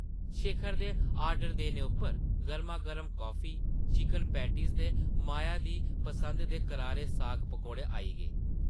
शेखर दे आर्डर देने उप्पर गर्मा-गर्म कॉफी, चिकन पैटीज़, ते माया दी पसंदा दे करारे साग-पकौड़े आई गे ।